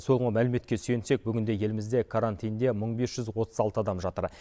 соңғы мәліметке сүйенсек бүгінде елімізде карантинде мың бес жүз отыз алты адам жатыр